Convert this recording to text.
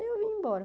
Aí eu vim embora.